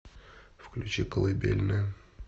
включи колыбельная